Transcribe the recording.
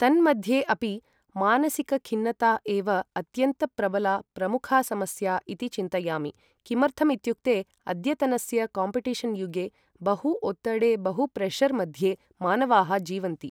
तन्मध्ये अपि मानसिकखिन्नता एव अत्यन्तप्रबला प्रमुखा समस्या इति चिन्तयामि किमर्थम् इत्युक्ते अद्यतनस्य काम्पिटेशन् युगे बहु ओत्तडे बहु प्रेशर् मध्ये मानवाः जीवन्ति ।